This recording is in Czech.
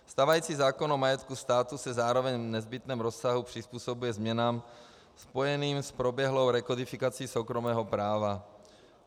Stávající zákon o majetku státu se zároveň v nezbytném rozsahu přizpůsobuje změnám spojeným s proběhlou rekodifikací soukromého práva.